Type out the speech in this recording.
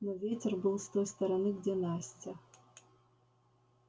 но ветер был с той стороны где настя